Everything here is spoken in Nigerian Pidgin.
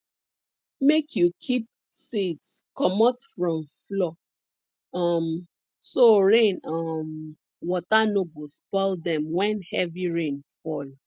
make you keep seeds comot from floor um so rain um water no go spoil dem when heavy rain fall